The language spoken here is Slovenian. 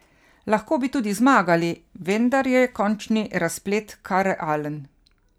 Lahko bi tudi zmagali, vendar je končni razplet kar realen.